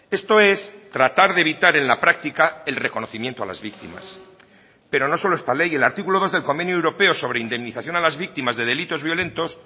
esto es tratar de evitar en la práctica el reconocimiento a las víctimas pero no solo esta ley el artículo dos del convenio europeo sobre indemnización a las víctimas de delitos violentos